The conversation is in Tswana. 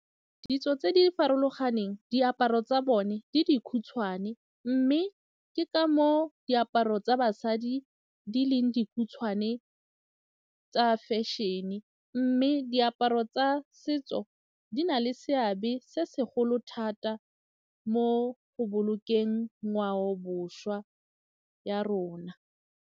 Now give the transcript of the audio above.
Ditso tse di farologaneng diaparo tsa bone le dikhutshwane mme ke ka moo diaparo tsa basadi di leng dikhutshwane tsa fashion-e mme diaparo tsa setso di na le seabe se segolo thata mo go bolokeng ngwaoboswa ya rona.